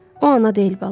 O ana deyil bala.